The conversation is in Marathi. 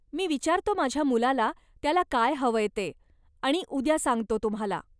मी विचारतो माझ्या मुलाला त्याला काय हवंय ते आणि उद्या सांगतो तुम्हाला.